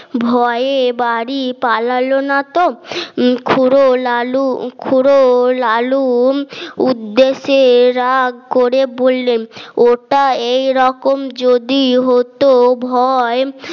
ভয়ে বাড়ি পালালো না তো খুড়ো লালু খুড়ো লালুম উদ্দেশ্যে রাগ করে বললেন ওটা এইরকম যদি হতো ভয়